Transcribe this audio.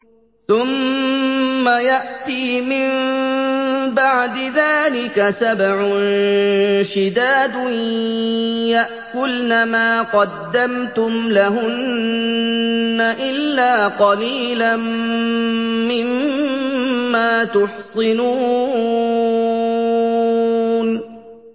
ثُمَّ يَأْتِي مِن بَعْدِ ذَٰلِكَ سَبْعٌ شِدَادٌ يَأْكُلْنَ مَا قَدَّمْتُمْ لَهُنَّ إِلَّا قَلِيلًا مِّمَّا تُحْصِنُونَ